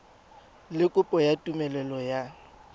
le kopo ya tumelelo ya